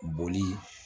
Boli